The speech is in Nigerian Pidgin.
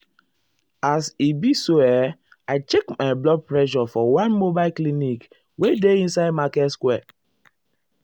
as e be so eh i check my blood blood pressure for one mobile clinic wey dey inside market square.